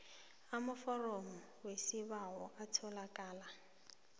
amaforomo wesibawo atholakala